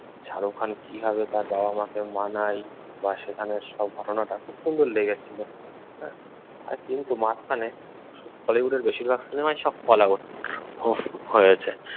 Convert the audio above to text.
শাহরুখ খান কিভাবে তাঁর বাবা-মাকে মানায় বা সেখানে সব ঘটনাটা খুব সুন্দর লেগেছিল। হ্যাঁ, কিন্তু মাঝখানে বলিউড এর বেশিরভাগ সিনেমাই সব হয়েছে।